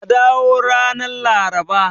Ka dawo ranar Laraba.